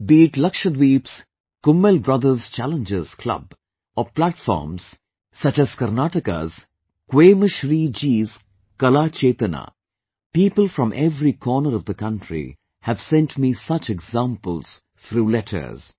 Be it Lakshdweep's Kummel Brothers Challengers Club, or platforms such as Karnataka's 'Kwemshree' ji's 'Kala Chetna', people from every corner of the country have sent me such examples through letters